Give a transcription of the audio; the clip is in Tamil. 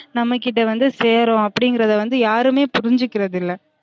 நம்ம கிட்ட வந்து சேரும் அப்டிங்கிறத வந்து யாருமே புருஞ்சிகிறது இல்ல